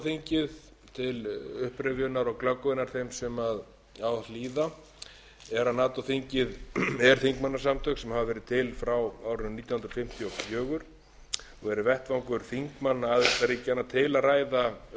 þingið til upprifjunar og glöggvunar þeim sem á hlýða er að nato þingið er þingmannasamtök sem hafa verið til frá árinu nítján hundruð fimmtíu og fjögur og verið vettvangur þingmanna aðildarríkjanna til að ræða